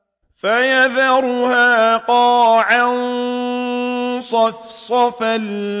فَيَذَرُهَا قَاعًا صَفْصَفًا